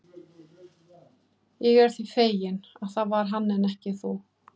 Ég er því feginn, að það var hann en ekki þú.